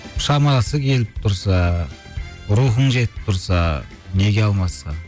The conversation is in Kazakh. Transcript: шамасы келіп тұрса рухың жетіп тұрса неге алмасқа